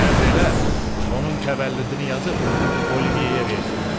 Əmr elə, onun təvəllüdünü yazıb Oliveyə versinlər.